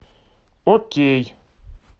окей